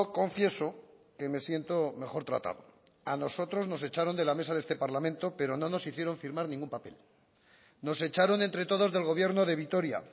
confieso que me siento mejor tratado a nosotros nos echaron de la mesa de este parlamento pero no nos hicieron firmar ningún papel nos echaron entre todos del gobierno de vitoria